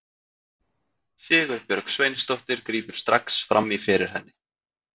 Sigurbjörg Sveinsdóttir grípur strax fram í fyrir henni.